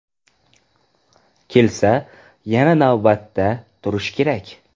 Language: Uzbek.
Kelsa, yana navbatda turishi kerak.